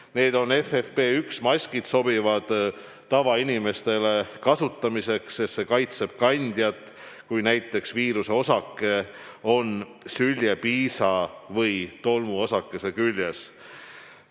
Need on FFP1 maskid, mis sobivad tavainimestele kasutamiseks, sest need kaitsevad kandjat, kui näiteks viiruseosake on süljepiisa või tolmuosakese küljes.